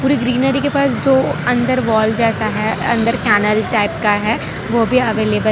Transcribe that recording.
greenery के पास दो अंदर वाल जैसा है अंदर कैनल टाइप का है वो भी अवेलेबल --